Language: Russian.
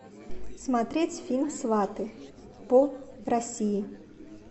смотреть фильм сваты по россии